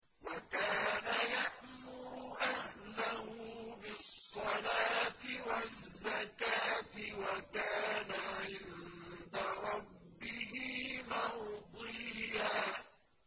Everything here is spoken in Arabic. وَكَانَ يَأْمُرُ أَهْلَهُ بِالصَّلَاةِ وَالزَّكَاةِ وَكَانَ عِندَ رَبِّهِ مَرْضِيًّا